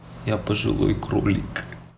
я пожилой кролик